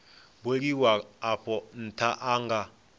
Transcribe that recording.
buliwaho afho ntha a nga